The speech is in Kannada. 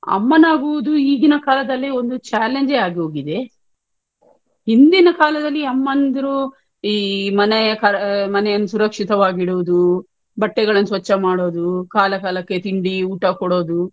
ಅಮ್ಮನಾಗುದು ಈಗಿನ ಕಾಲದಲ್ಲಿ ಒಂದು challenge ಏ ಆಗೋಗಿದೆ. ಹಿಂದಿನ ಕಾಲದಲ್ಲಿ ಅಮ್ಮಂದಿರು ಈ ಮನೆ ಮನೆಯನ್ನು ಸುರಕ್ಷಿತವಾಗಿಡುವುದು ಬಟ್ಟೆಗಳನ್ನುಸ್ವಚ್ಛ ಮಾಡುವುದು ಕಾಲ ಕಾಲಕ್ಕೆ ಊಟ ತಿಂಡಿ ಕೊಡುವುದು,